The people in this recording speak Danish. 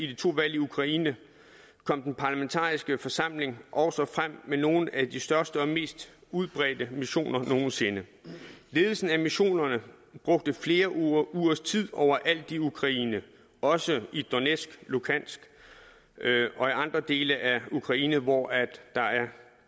de to valg i ukraine kom den parlamentariske forsamling også frem med nogle af de største og mest udbredte missioner nogen sinde ledelsen af missionerne brugte flere ugers tid overalt i ukraine også i donetsk luhansk og andre dele af ukraine hvor der er